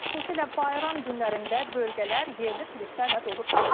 Xüsusilə bayram günlərində bölgələr yerli turistlərlə dolub daşır.